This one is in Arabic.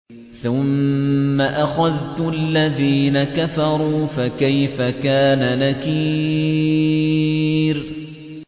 ثُمَّ أَخَذْتُ الَّذِينَ كَفَرُوا ۖ فَكَيْفَ كَانَ نَكِيرِ